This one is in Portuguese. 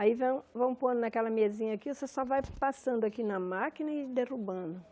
Aí vão vão pondo naquela mesinha aqui, você só vai passando aqui na máquina e derrubando.